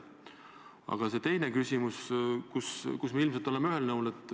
Aga teises küsimuses oleme me ilmselt ühel nõul.